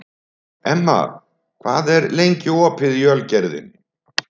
Emma, hvað er lengi opið í Ölgerðinni?